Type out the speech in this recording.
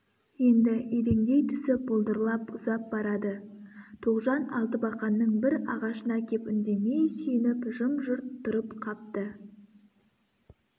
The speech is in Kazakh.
енді иреңдей түсіп бұлдырлап ұзап барады тоғжан алтыбақанның бір ағашына кеп үндемей сүйеніп жым-жырт тұрып қапты